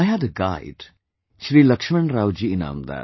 I had a guide Shri Laxmanrao ji Inamdar